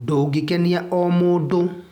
Ndũngĩkenia o mũndũ.